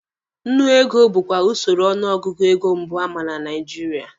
Nnu ego bukwa usoro ọnụ ọgụgụ ego mbụ ama na Nigeria.